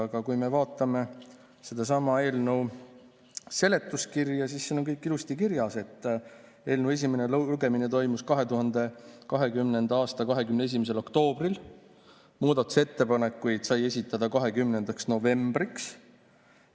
Aga kui me vaatame selle eelnõu seletuskirja, siis siin on ilusti kirjas, et eelnõu esimene lugemine toimus 2020. aasta 21. oktoobril, muudatusettepanekuid sai esitada 20. novembriks.